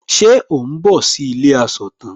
Ṣe ò ń bọ̀ sí ilé asọ̀tàn?